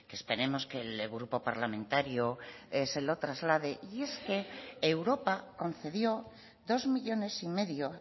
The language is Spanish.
que esperemos que el grupo parlamentario se lo traslade y es que europa concedió dos millónes y medio